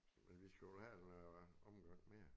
Men vi skal vel have en øh omgang mere